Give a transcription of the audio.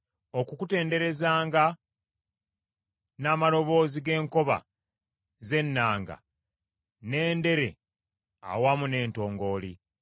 Okukutenderezanga n’amaloboozi g’enkoba z’ennanga n’endere awamu n’entongooli.